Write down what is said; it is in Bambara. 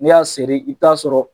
N'i y'a seri i bi t'a sɔrɔ.